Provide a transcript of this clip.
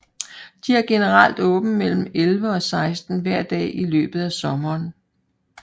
De har generelt åbent mellem 11 og 16 hver dag i løbet af sommeren